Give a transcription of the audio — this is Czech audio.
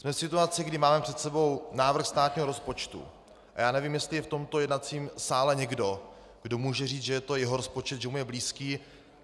Jsme v situaci, kdy máme před sebou návrh státního rozpočtu, a já nevím, jestli je v tomto jednacím sále někdo, kdo může říct, že je to jeho rozpočet, že mu je blízký.